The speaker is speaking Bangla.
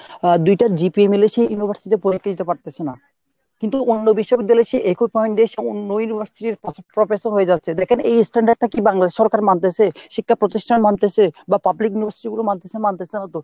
দুইটা GPA মিলে সে university তে পরীক্ষা দিতে পারতাছে না। কিন্তু অন্য বিশ্ববিদ্যালয় এ সে একই point এ অন্য university র professor হয়ে যাচ্ছে। দ্যাখেন এই standard টা কী Bangladesh এর সরকার মানতেছে, শিক্ষা প্রতিষ্ঠান মানতেছে, বা পাবলিক university গুলো মানতেছে।? মানতেছে না তো !